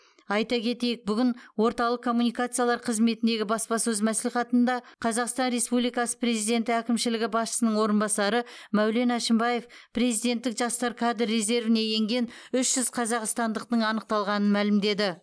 айта кетейік бүгін орталық коммуникациялар қызметіндегі баспасөз мәслихатында қазақстан республикасы президенті әкімшілігі басшысының орынбасары мәулен әшімбаев президенттік жастар кадр резервіне енген үш жүз қазақстандықтың анықталғанын мәлімдеді